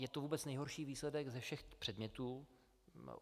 Je to vůbec nejhorší výsledek ze všech předmětů.